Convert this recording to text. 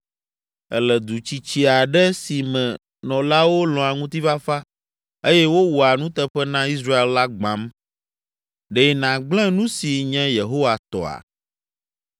Èle du tsitsi aɖe si me nɔlawo lɔ̃a ŋutifafa eye wowɔa nuteƒe na Israel la gbãm. Ɖe nàgblẽ nu si nye Yehowa tɔa?”